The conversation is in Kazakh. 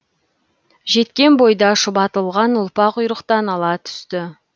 жеткен бойда шұбатылған ұлпа құйрықтан ала түсті